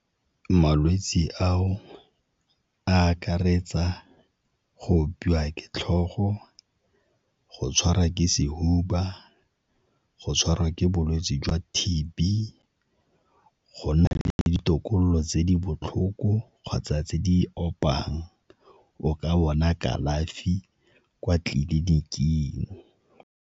Malwetse ao a akaretsa go opiwa ke tlhogo, go tshwarwa ke sehuba, go tshwarwa ke bolwetse jwa T_B, go nna le ditokololo tse di botlhoko kgotsa tse di opang o ka bona kalafi kwa tleliniking.